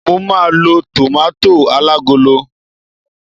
mo ma lo tomato alagolo